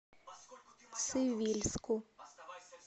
цивильску